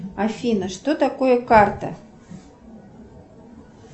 афина что такое карта